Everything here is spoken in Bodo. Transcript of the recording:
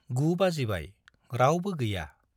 गु बाजिबाय, रावबो गैया।